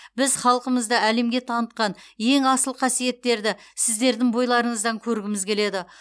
біз халқымызды әлемге танытқан ең асыл қасиеттерді сіздердің бойларыңыздан көргіміз келеді